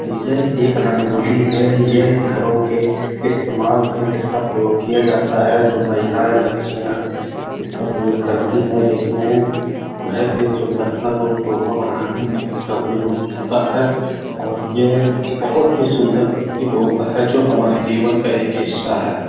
ये एक रंगोली है। ये घरों के इस्तेमाल में इसका प्रयोग किया जाता है। जो महिलाएं बच्चियां इसका प्रयोग करती है जिसमें घर के सुंदरता को शोभा बढ़ाने में इसका प्रयोग होता है और ये बहुत ही सुंदर प्रतीत होता है जो हमारे जीवन का एक हिस्सा है।